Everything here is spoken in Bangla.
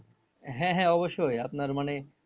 হ্যাঁ হ্যাঁ অবশ্যই আপনার মানে